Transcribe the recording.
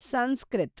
Sanskrit